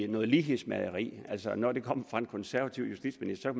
noget lighedsmageri altså når det kommer fra en konservativ justitsminister